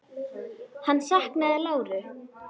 Hann saknaði láru.